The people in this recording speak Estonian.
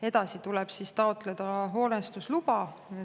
Edasi tuleb taotleda hoonestusluba.